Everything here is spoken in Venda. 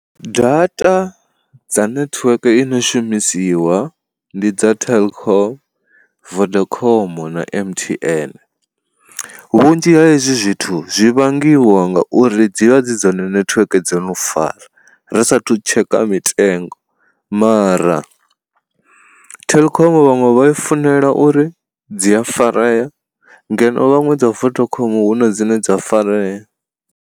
Data dza nethiweke i no shumisiwa ndi dza telkom, vodacom, na M_T_N. Vhunzhi ha hezwi zwithu zwi vhangiwa ngauri dzivha dzi dzone netiweke dzo no fara, ri sathu tsheka mitengo, mara telkom vhaṅwe vha i funela uri dzi a farea ngeno vhaṅwe dza vodacom hune dzine dza farea.